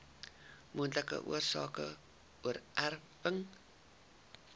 moontlike oorsake oorerwing